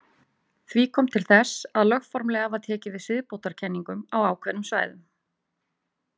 Því kom til þess að lögformlega var tekið við siðbótarkenningum á ákveðnum svæðum.